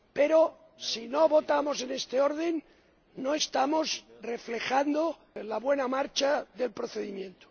Pero si no votamos en este orden no estamos reflejando la buena marcha del procedimiento.